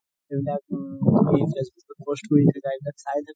চাই থাকো